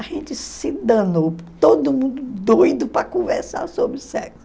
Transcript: A gente se danou, todo mundo doido para conversar sobre sexo.